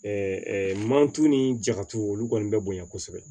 mantu ni jatu olu kɔni bɛ bonya kosɛbɛ